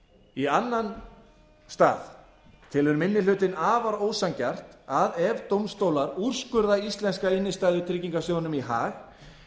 í annan stað telur annar minni hluti afar ósanngjarnt að ef dómstólar úrskurða íslenska innstæðutryggingarsjóðnum í hag